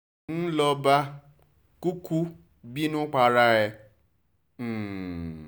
ń lọ bá kúkú bínú para ẹ̀ um